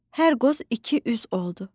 Hər qoz iki üz oldu.